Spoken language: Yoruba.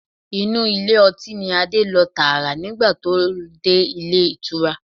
Inú ilé ọtí ni Adé lọ tààrà nígbà tó dé Ilé ìtura.